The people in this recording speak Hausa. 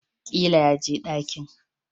Ƙila yaje dakin